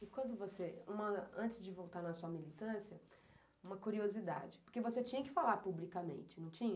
E quando você, antes de voltar na sua militância, uma curiosidade, porque você tinha que falar publicamente, não tinha?